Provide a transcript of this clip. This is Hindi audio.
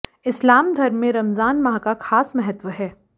इस्लाम धर्म में रमजान माह का खास महत्व है